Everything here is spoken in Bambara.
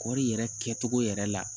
Kɔɔri yɛrɛ kɛcogo yɛrɛ la